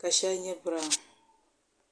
ka shɛli biraawn